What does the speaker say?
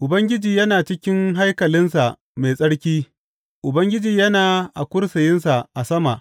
Ubangiji yana cikin haikalinsa mai tsarki; Ubangiji yana a kursiyinsa a sama.